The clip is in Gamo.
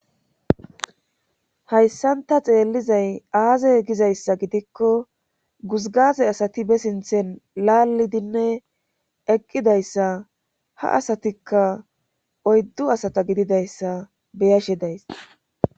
hayssanta xeellizay aazey gizayssa gidikko guzgaze asati be sinthen laalidinne eqqidayssa ha asatikka oyddu asata gididayssa beyashe days